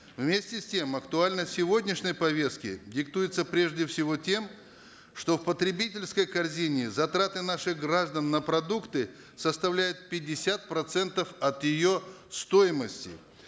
вместе с тем актуальность сегодняшней повестки диктуется прежде всего тем что в потребительской корзине затраты наших граждан на продукты составляют пятьдесят процентов от ее стоимости